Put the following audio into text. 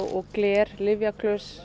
gler